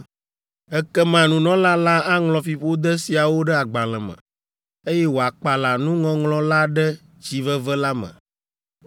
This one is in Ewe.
“ ‘Ekema nunɔla la aŋlɔ fiƒode siawo ɖe agbalẽ me, eye wòakpala nuŋɔŋlɔ la ɖe tsi veve la me.